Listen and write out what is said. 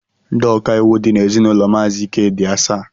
Ndị ọkàiwu dị n'ezinụlọ maazi Ike dị asaa